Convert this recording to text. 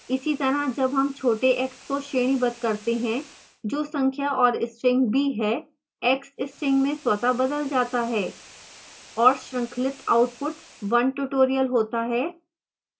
इसी तरह जब हम छोटे x को श्रेणीबद्ध करते हैं जो संख्या और string b है x string में स्वतः बदल जाता है